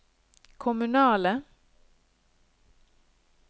kommunale